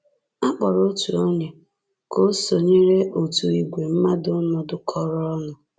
A kpọrọ otu onye ka o sonyere otu ìgwè mmadụ nọdụkọrọ ọnụ.